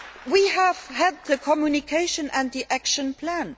here for. We have had the communication and the action